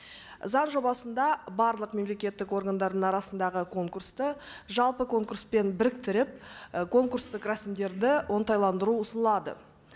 заң жобасында барлық мемлекеттік органдардың арасындағы конкурсты жалпы конкурспен біріктіріп і конкурстық рәсімдерді оңтайландыру ұсынылады